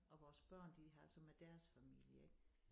Og vores børn de har så med deres familie ik